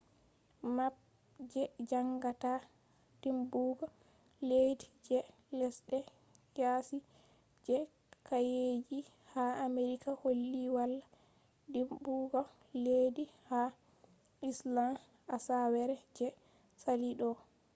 map je jangata dimbugo leddi je lesde yasi je kaeji ha america holli wala dimbugo leddi ha iceland asawere je sali do